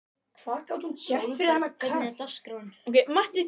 Sólberg, hvernig er dagskráin?